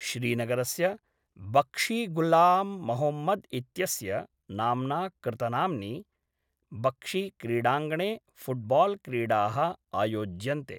श्रीनगरस्य बक्षीग़ुलाम्मोहम्मद् इत्यस्य नाम्ना कृतनाम्नि बक्षीक्रीडाङ्गणे फ़ुट्बाल्क्रीडाः आयोज्यन्ते।